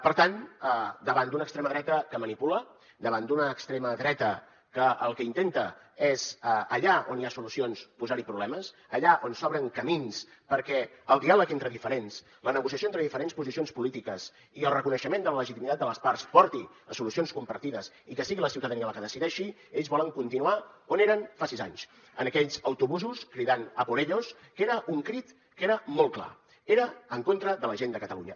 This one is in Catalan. per tant davant d’una extrema dreta que manipula davant d’una extrema dreta que el que intenta és allà on hi ha solucions posar hi problemes allà on s’obren camins perquè el diàleg entre diferents la negociació entre diferents posicions polítiques i el reconeixement de la legitimitat de les parts porti a solucions compartides i que sigui la ciutadania la que decideixi ells volen continuar on eren fa sis anys en aquells autobusos cridant a por ellos que era un crit que era molt clar era en contra de la gent de catalunya